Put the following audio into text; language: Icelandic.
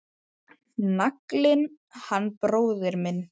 Naglinn hann bróðir minn.